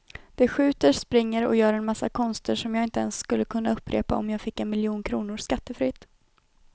De skjuter, springer och gör en massa konster som jag inte ens skulle kunna upprepa om jag fick en miljon kronor skattefritt.